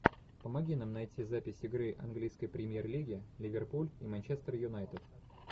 помоги нам найти запись игры английской премьер лиги ливерпуль и манчестер юнайтед